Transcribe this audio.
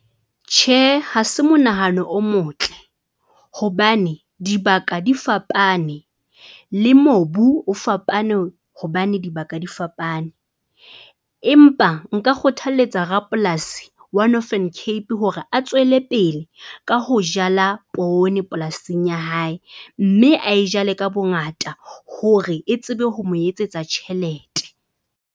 Tjhe ha se monahano o motle, hobane dibaka di fapane le mobu o fapane hobane dibaka di fapane. Empa nka kgothaletsa rapolasi wa Northern Cape hore a tswele pele ka ho jala poone polasing ya hae, mme ae jale ka bongata hore e tsebe ho mo etsetsa tjhelete.